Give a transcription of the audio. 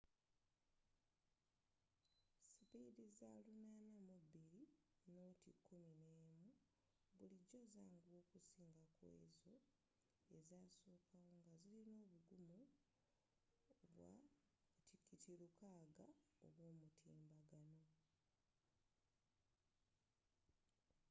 sipiidi za 802.11n bulijjo zanguwa okusinga kkwezo ezasookawo ngazirina obugumu bwa 600mbit/s